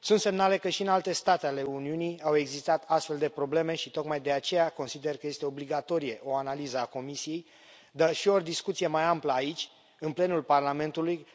Sunt semnale că și în alte state ale Uniunii au existat astfel de probleme și, tocmai de aceea, consider că este obligatorie o analiză a Comisiei, dar și o discuție mai amplă aici, în plenul Parlamentului,